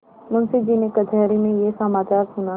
मुंशीजी ने कचहरी में यह समाचार सुना